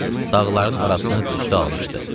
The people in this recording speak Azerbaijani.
Dağların arasını tüstü almışdı.